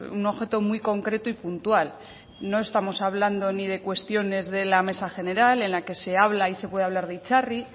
un objeto muy concreto y puntual no estamos hablando ni de cuestiones de la mesa general en la que se habla y se puede hablar de itzarri